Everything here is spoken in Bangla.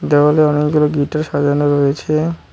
দেওয়ালে অনেকগুলো গিটার সাজানো রয়েছে।